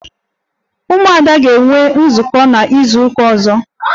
Umuada ga-enwe nzukọ n'izuụka ọzọ